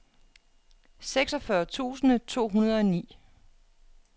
seksogfyrre tusind to hundrede og ni